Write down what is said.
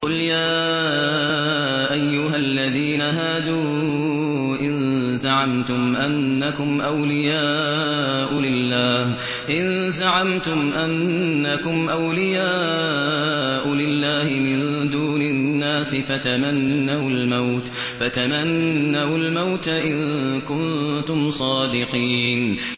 قُلْ يَا أَيُّهَا الَّذِينَ هَادُوا إِن زَعَمْتُمْ أَنَّكُمْ أَوْلِيَاءُ لِلَّهِ مِن دُونِ النَّاسِ فَتَمَنَّوُا الْمَوْتَ إِن كُنتُمْ صَادِقِينَ